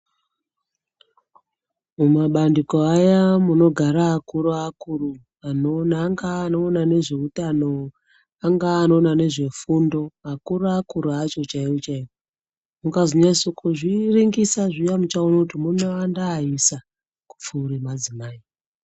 Mumabandiko aya anogara akuru akuru angava vanoona nezveutano angava vanoona nezvefundo akuru akuru acho chaiwo chaiwo mukazonatso kuzviringisa zviya muchaona munowanda aisa kupfuura madzimai.